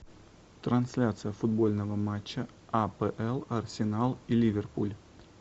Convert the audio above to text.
трансляция футбольного матча апл арсенал и ливерпуль